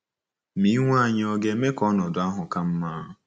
Ma iwe anyị ọ̀ ga-eme ka ọnọdụ ahụ ka mma?